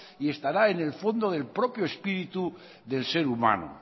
y estará en el fondo del propio espíritu del ser humano